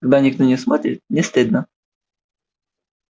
когда никто не смотрит не стыдно